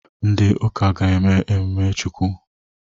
Ndi ụka ka eme mmiri chukwụ.